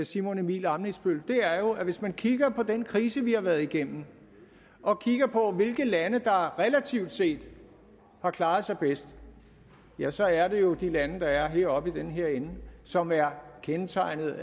simon emil ammitzbøll er jo at hvis man kigger på den krise vi har været igennem og kigger på hvilke lande der relativt set har klaret sig bedst ja så er det jo de lande der er heroppe i den her ende som er kendetegnet